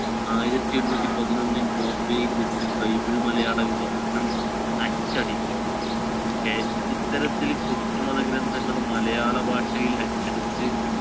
ആയിരത്തി എണ്ണൂറ്റി പതിനൊന്നിൽ ബോംബെയിൽ വച്ച് bible മലയാളവിവർത്തനം അച്ചടിച്ചു. കെ~ ഇത്തരത്തിൽ ക്രിസ്തുമത ഗ്രന്ഥങ്ങൾ മലയാളഭാഷയിൽ അച്ചടിച്ച്